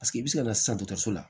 i bɛ se ka na sisan dɔgɔtɔrɔso la